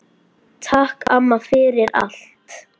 Takk, amma, fyrir allt.